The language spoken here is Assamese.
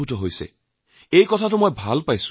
মই ইয়াক আটাইতকৈ ভাল সংকেত বুলি ধৰি লৈছোঁ